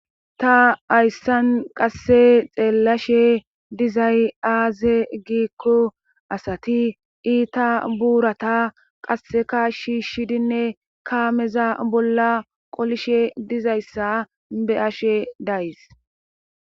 ta ayssan qasse xeellashe dizay aaze giikko asati iita buurata qasseka shiishshidinne kaameza bolla qolishe dizayssa be7ashe days